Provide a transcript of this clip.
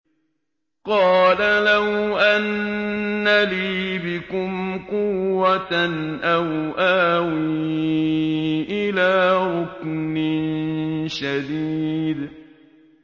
قَالَ لَوْ أَنَّ لِي بِكُمْ قُوَّةً أَوْ آوِي إِلَىٰ رُكْنٍ شَدِيدٍ